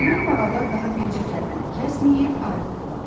Qohum marallar daha bircə kəlmə də kəsməyib ayrıldılar.